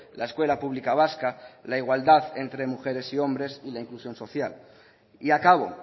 la escuela pública vasca la igualdad entre mujeres y hombres y la inclusión social y acabo